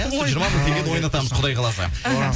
ой жиырма мың теңгені ойнатамыз құдай қаласа іхі